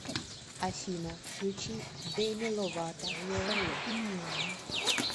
афина включи деми ловато соло